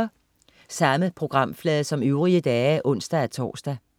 Samme programflade som øvrige dage (ons-tors)